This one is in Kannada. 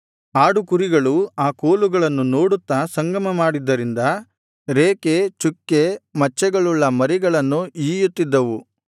ಆಡುಕುರಿಗಳು ಆ ಕೋಲುಗಳನ್ನು ನೋಡುತ್ತಾ ಸಂಗಮಮಾದಿದ್ದರಿಂದ ರೇಖೆ ಚುಕ್ಕೆ ಮಚ್ಚೆಗಳುಳ್ಳ ಮರಿಗಳನ್ನು ಈಯುತ್ತಿದ್ದವು